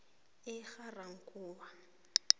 egarankuwa